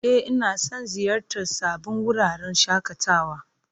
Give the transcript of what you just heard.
E, ina son ziyartar sabbin wuraren shakatawa.